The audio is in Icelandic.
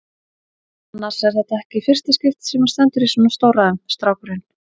Annars er þetta ekki í fyrsta skipti sem hann stendur í svona stórræðum, strákurinn.